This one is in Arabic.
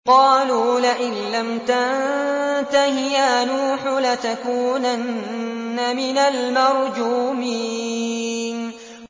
قَالُوا لَئِن لَّمْ تَنتَهِ يَا نُوحُ لَتَكُونَنَّ مِنَ الْمَرْجُومِينَ